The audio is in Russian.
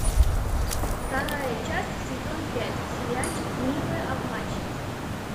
вторая часть сезон пять сериальчик милые обманщицы